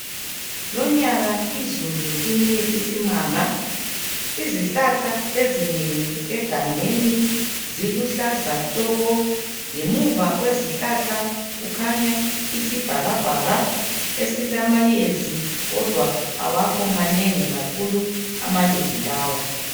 Lonyaka izulu line isimanga ,izihlahla ezinengi egangeni ziluhlaza tshoko. Ngemuva kwezihlahla kukhanya isibhakabhaka esilamayezi kodwa awakho manengi kakhulu amayezi lawa.